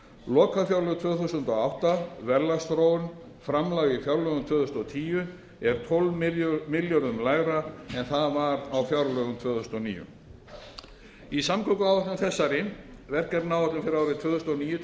lokafjárlög tvö þúsund og átta verðlagsþróun framlag í fjárlögum tvö þúsund og tíu er tólf milljörðum lægra en það var á fjárlögum tvö þúsund og níu í samgönguáætlun þessari verkefnaáætlun fyrir árin tvö þúsund og níu til tvö þúsund og